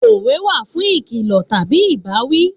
Òwe wà fún ìkìlọ̀ tàbí ìbáwí